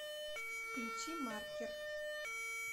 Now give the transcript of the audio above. включи маркер